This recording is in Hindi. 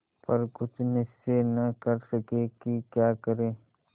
पर कुछ निश्चय न कर सके कि क्या करें